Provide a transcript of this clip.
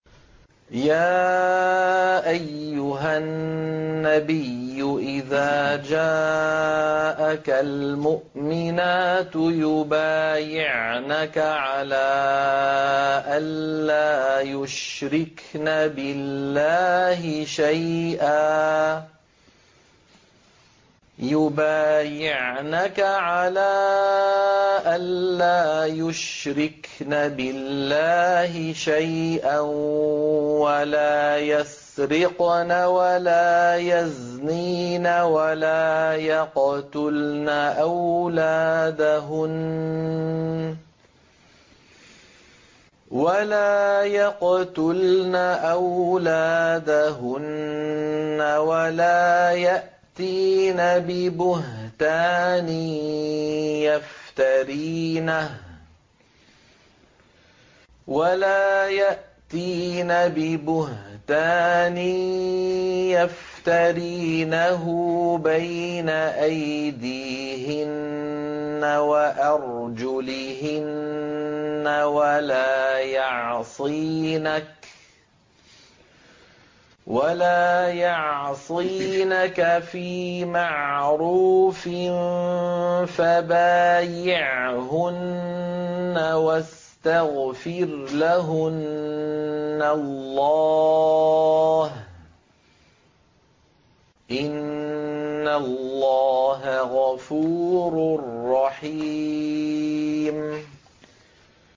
يَا أَيُّهَا النَّبِيُّ إِذَا جَاءَكَ الْمُؤْمِنَاتُ يُبَايِعْنَكَ عَلَىٰ أَن لَّا يُشْرِكْنَ بِاللَّهِ شَيْئًا وَلَا يَسْرِقْنَ وَلَا يَزْنِينَ وَلَا يَقْتُلْنَ أَوْلَادَهُنَّ وَلَا يَأْتِينَ بِبُهْتَانٍ يَفْتَرِينَهُ بَيْنَ أَيْدِيهِنَّ وَأَرْجُلِهِنَّ وَلَا يَعْصِينَكَ فِي مَعْرُوفٍ ۙ فَبَايِعْهُنَّ وَاسْتَغْفِرْ لَهُنَّ اللَّهَ ۖ إِنَّ اللَّهَ غَفُورٌ رَّحِيمٌ